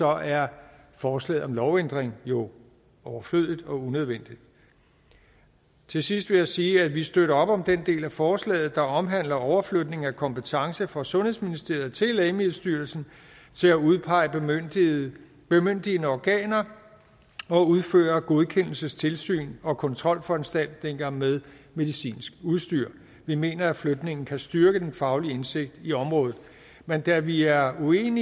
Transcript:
er forslaget om lovændring jo overflødigt og unødvendigt til sidst vil jeg sige at vi støtter op om den del af forslaget der omhandler overflytning af kompetence fra sundhedsministeriet til lægemiddelstyrelsen til at udpege bemyndigende organer og udføre godkendelsestilsyn og kontrolforanstaltninger med medicinsk udstyr vi mener at flytningen kan styrke den faglige indsigt i området men da vi er uenige